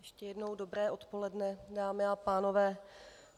Ještě jednou dobré odpoledne, dámy a pánové.